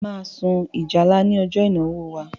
Máa sun ìjálá ní ọjọ ìnáwó wa